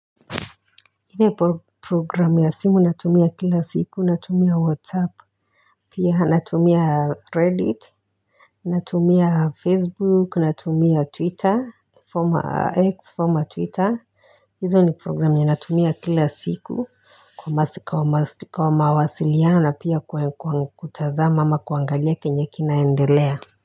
Ine po program ya simu natumia kila siku, natumia WhatsApp, pia natumia Reddit natumia Facebook, natumia Twitter, former X, former Twitter. Hizo ni program yenye natumia kila siku, kwa masi kwa masi kwa mawasiliano na pia kwa kwa kutazama ama kuangalia kenye kinaendelea.